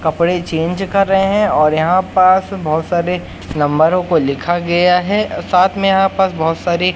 कपड़े चेंज कर रहे हैं और यहां पास बहोत सारे नंबरों को लिखा गया है साथ में यहां पास बहोत सारी--